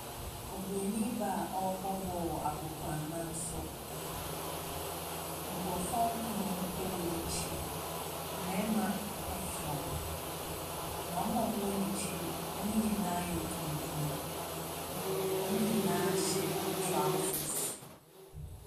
Oburoni baa a ɔrebɔ ball wɔ agoprama so. Nkurɔfoɔ nkron wɔ n’akyi. Mmarima fra. Na wɔn a wɔwɔ n’akyi no wɔn nyinaa yɛ tuntum. Wɔn nyinaa hyɛ trousers.